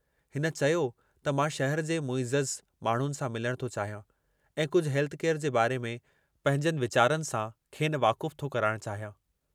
हिन चयो त मां शहर जे मुइज़ज़ माण्हुनि सां मिलण थो चाहियां ऐं कुझ हेल्थ केयर जे बारे में पंहिंजनि वीचारनि सां खेनि वाकुफ़ु थो कराइणु चाहियां।